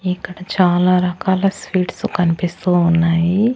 ఇక్కడ చాలా రకాల స్వీట్స్ కనిపిస్తూ ఉన్నాయి.